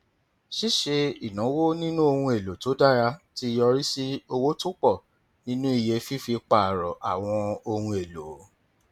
ṣíṣe ìnáwó nínú ohun èlò tó dára ti yọrí sí owó tó pọ nínú iye fífi pààrọ àwọn ohun èlò